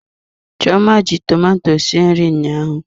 Chioma ji tomato sie nri ụnyaahụ.